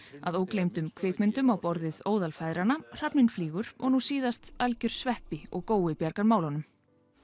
að ógleymdum kvikmyndum á borð við óðal feðranna hrafninn flýgur og nú síðast algjör sveppi og gói bjarga málunum